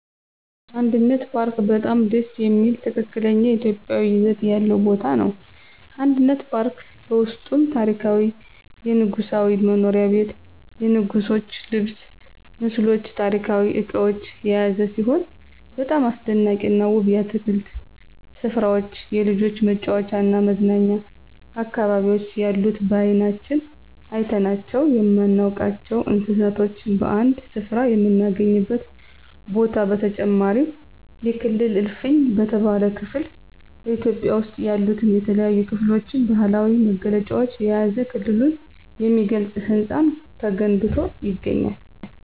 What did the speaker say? አንድነት ፓርክ በጣም ደስ የሚል ትክክለኛ ኢትዮጵያዊ ይዘት ያለው ቦታ ነው። አንድነት ፓርክ በውስጡም ታሪካዊ የንጉሣዊ መኖሪያ ቤት የንጉሥች ልብስ ምስሎች ታሪካዊ እቃዎች የያዘ ሲሆን በጣም አስደናቂና ውብ የአትክልት ስፍራዎች የልጆች መጫወቻና መዝናኛ አካባቢዎች ያሉት በአይናችን አይተናቸው የማናውቃቸውን እንስሳቶች በአንድ ስፍራ የምናገኝበት ቦታ በተጨማሪም የክልል እልፍኝ በተባለው ክፍል በኢትዮጵያ ውስጥ ያሉትን የተለያዩ ክልሎች ባህላዊ መገለጫዎችን የያዘ ክልሉን የሚገልጽ ህንፃ ተገንብቶ ይገኛል።